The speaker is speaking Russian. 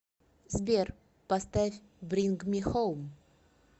сбер поставь бринг ми хоум